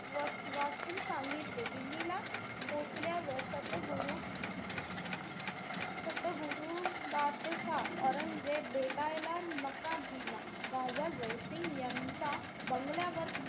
व~ वाचून सांगितले. दिल्लीला पोचल्यावर, सत गुरु सत गुरु बादशाह औरंगजेब भेटायला नकार दिला. राजा जय सिंग यांच्या बंगल्यावर,